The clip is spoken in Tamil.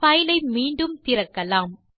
பைல் ஐ மீண்டும் திறக்கலாம்